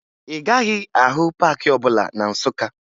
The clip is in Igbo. Ị gaghị ahụ paakị ọbụla na Nsụka